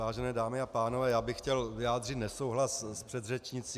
Vážené dámy a pánové, já bych chtěl vyjádřit nesouhlas s předřečnicí.